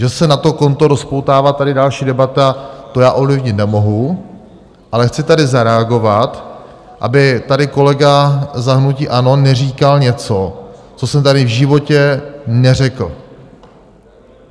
Že se na to konto rozpoutává tady další debata, to já ovlivnit nemohu, ale chci tady zareagovat, aby tady kolega za hnutí ANO neříkal něco, co jsem tady v životě neřekl.